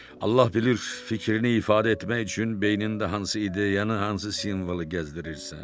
Allah bilir fikrini ifadə etmək üçün beynində hansı ideyanı, hansı simvolu gəzdirirsən.